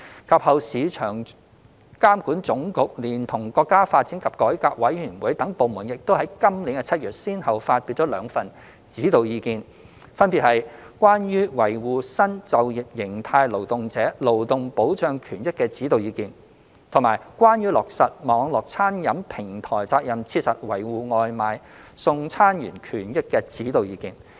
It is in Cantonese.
及後，市場監管總局連同國家發展和改革委員會等部門，亦於今年7月先後發表兩份《指導意見》，分別為《關於維護新就業形態勞動者勞動保障權益的指導意見》及《關於落實網絡餐飲平台責任切實維護外賣送餐員權益的指導意見》。